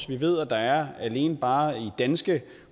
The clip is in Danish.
vi ved at der alene bare i danske